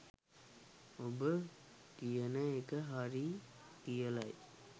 ඔබ කියන එක හරියි කියලයි